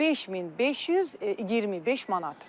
5525 manat.